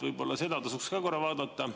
Võib-olla seda tasuks ka korra vaadata.